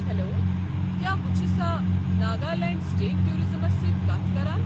Hello! کیٚا بہٕ چھُسا ناگالینڈ سٹیٹ ٹورازمَس سۭتۍ کتھ کران؟